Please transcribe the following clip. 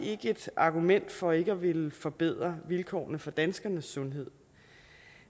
ikke et argument for ikke at ville forbedre vilkårene for danskernes sundhed